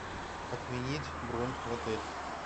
отменить бронь в отель